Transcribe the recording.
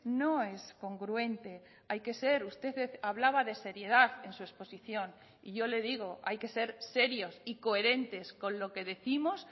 no es congruente hay que ser usted hablaba de seriedad en su exposición y yo le digo hay que ser serios y coherentes con lo que décimos